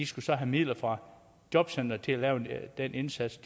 skulle have midler fra jobcenteret til at lave den indsats